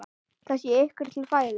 Það sé ykkur til fæðu.